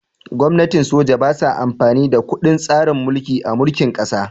Gwamnatin soja ba sa amfani da kundin tsarin mulki a mulkin ƙasa